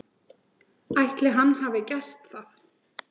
Ætli hann hafi gert það?